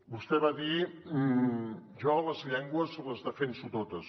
vostè va dir jo les llengües les defenso totes